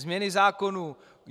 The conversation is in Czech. Změny zákonů.